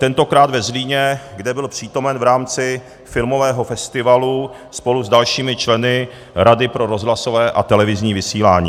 Tentokrát ve Zlíně, kde byl přítomen v rámci filmového festivalu spolu s dalšími členy Rady pro rozhlasové a televizní vysílání.